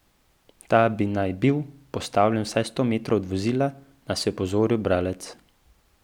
Ta bi naj bil postavljen vsaj sto metrov od vozila, nas je opozoril bralec.